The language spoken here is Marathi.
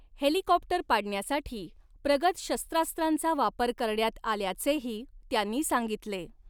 हेलिकॉप्टर पाडण्यासाठी प्रगत शस्त्रास्त्रांचा वापर करण्यात आल्याचेही त्यांनी सांगितले.